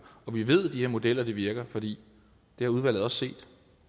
vi ved at de her modeller virker fordi det har udvalget også set